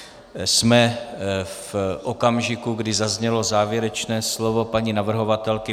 Jsme v okamžiku, kdy zaznělo závěrečné slovo paní navrhovatelky.